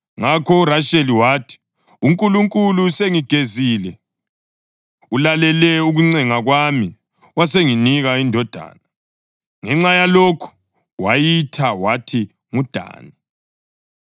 Ngakho uRasheli wathi, “UNkulunkulu usengigezile; ulalele ukuncenga kwami wasenginika indodana.” Ngenxa yalokhu wayitha wathi nguDani.